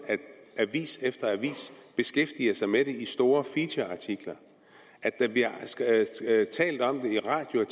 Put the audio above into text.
avis efter avis beskæftiger sig med den i store featureartikler der bliver talt om det i radio og